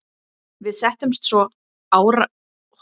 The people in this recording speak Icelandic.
Við settumst svo undir árar, stoltir yfir árangri okkar og ráðkænsku.